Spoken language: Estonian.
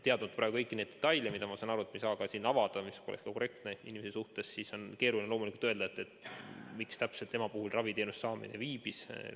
Teadmata praegu kõiki neid detaile, mida, ma saan aru, me ei saa siin avada, see poleks ka korrektne selle inimese suhtes, on loomulikult keeruline öelda, miks täpselt tema puhul raviteenuse saamine viibis.